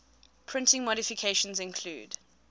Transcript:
printing modifications include